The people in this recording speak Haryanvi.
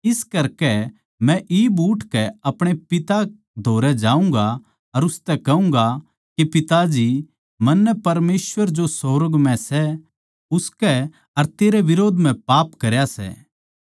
इस करकै मै इब उठकै अपणे पिता धोरै जाऊँगा अर उसतै कहूँगा के पिता जी मन्नै परमेसवर जो सुर्ग म्ह सै उसके अर तेरे बिरोध म्ह पाप करया सै